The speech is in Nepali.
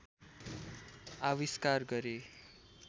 आविष्कार गरे